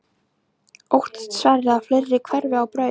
Óttast Sverrir að fleiri hverfi á braut?